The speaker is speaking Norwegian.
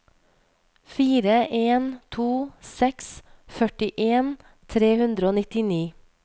fire en to seks førtien tre hundre og nittini